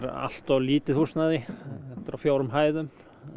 allt of lítið húsnæði þetta er á fjórum hæðum